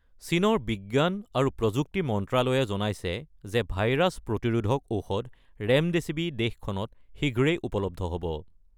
চীনৰ বিজ্ঞান আৰু প্ৰযুক্তি মন্ত্ৰ্যালয়ে জনাইছে যে ভাইৰাছ প্ৰতিৰোধক ঔষধ ৰেমডেছিৱি দেশখনত শীঘ্ৰেই উপলব্ধ হ'ব।